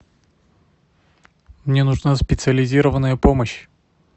мне нужна специализированная помощь